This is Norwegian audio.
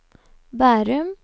Bærum